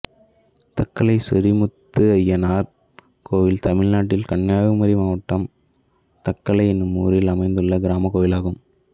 தக்கலை சொரிமுத்தய்யனார் கோயில் தமிழ்நாட்டில் கன்னியாகுமரி மாவட்டம் தக்கலை என்னும் ஊரில் அமைந்துள்ள கிராமக் கோயிலாகும்